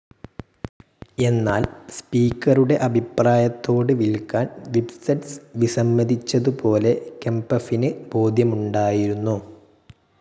എന്നാൽ സ്പീക്കറുടെ അഭിപ്രായത്തോട് വിൽക്കാൻ വിബ്സെറ്റ്സ് വിസമ്മതിച്ചതുപോലെ കെംപഫിന് ബോധ്യമുണ്ടായിരുന്നു.